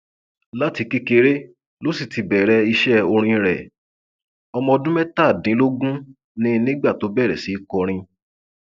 láti kékeré ló sì ti bẹrẹ iṣẹ orin rẹ ọmọ ọdún mẹtàdínlógún ni nígbà tó bẹrẹ sí í kọrin